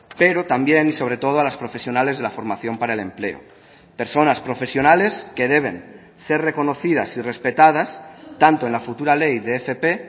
pero también y sobre todo a las profesionales de la formación para el empleo personas profesionales que deben ser reconocidas y respetadas tanto en la futura ley de fp